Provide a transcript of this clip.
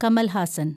Kamal Haasan